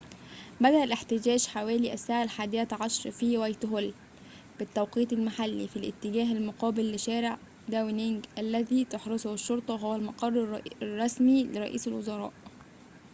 بدأ الاحتجاج حوالي الساعة 11:00 بالتوقيت المحلي utc+1 في وايتهول في الاتجاه المقابل لشارع داونينج الذي تحرسه الشرطة وهو المقر الرسمي لرئيس الوزراء